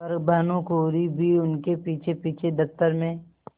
पर भानुकुँवरि भी उनके पीछेपीछे दफ्तर में